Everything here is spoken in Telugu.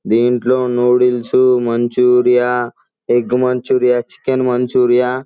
దింట్లో noodles Manchuria egg Manchuria chicken Manchuria --